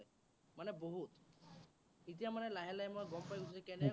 মানে বহুত। এতিয়া মানে লাহে লাহে মই গম পাই গৈছো, কেনেকৈ